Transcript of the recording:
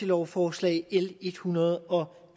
lovforslag l en hundrede og